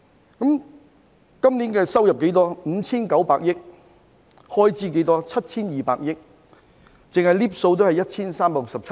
香港今年收入 5,900 億元，開支 7,200 億元，兩者相差 1,367 億元。